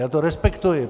Já to respektuji.